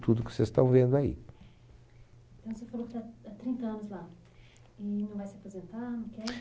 tudo que vocês estão vendo aí. Então você falou que está ha trinta anos lá e não vai se aposentar, não quer?